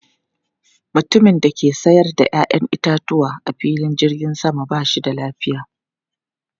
Mutumin da ke sayar da 'ya'yan itatuwa a filin jirgin sama ba shi da lafiya.